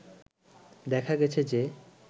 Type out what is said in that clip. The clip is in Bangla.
দেখা গেছে যে